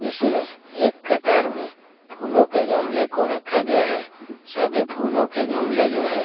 इसमें एक कतार में फूलों के गमले को रखा गया है सभी फूलों के गमले जो है--